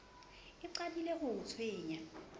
e qadile ho o tshwenya